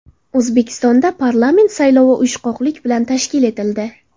O‘zbekistonda parlament saylovi uyushqoqlik bilan tashkil etildi.